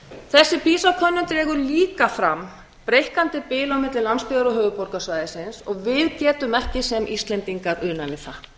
þessi pisa könnun dregur líka fram breikkandi bil á milli landsbyggðar og höfuðborgarsvæðisins við getum ekki sem íslendingar unað við það